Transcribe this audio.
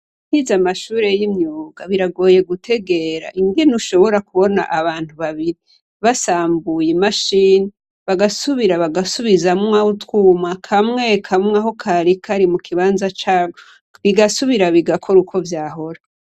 Utize amashure y'umwuga biragoye gutegera ingene ushobora kubona abantu babiri basambuye imashini bagasubira bagusubizamwo utwuma, kamwe kamwe aho kari kari mu kibanza cako ; bigasubira bigakora uko vyahora.